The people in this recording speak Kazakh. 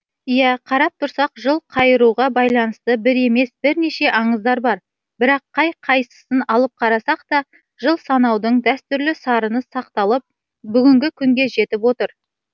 иә қарап тұрсақ жыл қайыруға байланысты бір емес бірнеше аңыздар бар бірақ қай қайсысын алып қарасақ та жыл санаудың дәстүрлі сарыны сақталып бүгінгі күнге жетіп отыр